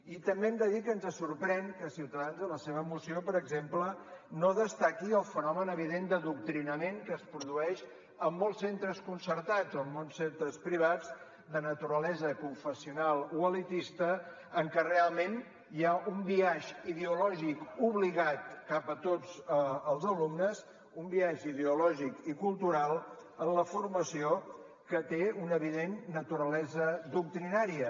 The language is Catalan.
i també hem de dir que ens sorprèn que ciutadans en la seva moció per exemple no destaqui el fenomen evident d’adoctrinament que es produeix en molts centres concertats o en molts centres privats de naturalesa confessional o elitista en què realment hi ha un biaix ideològic obligat cap a tots els alumnes un biaix ideològic i cultural en la formació que té una evident naturalesa doctrinària